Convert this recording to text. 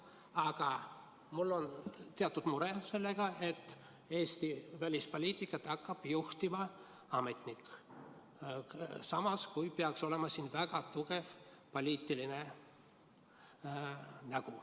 Aga mul on teatud mure selle pärast, et Eesti välispoliitikat hakkab juhtima ametnik, samas kui seal peaks olema väga tugev poliitiline nägu.